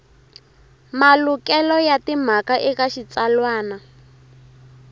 malukelo ya timhaka eka xitsalwana